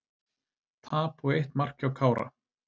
Tap og eitt mark hjá Kára